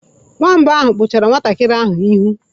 Nwamba ahụ kpụchara nwantakịrị ahụ n'ihu.